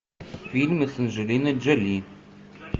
фильмы с анджелиной джоли